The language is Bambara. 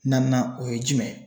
Naaninan o ye jumɛn ye,